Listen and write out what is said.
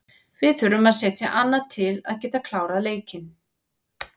Við þurfum að setja annað til að geta klárað leikinn.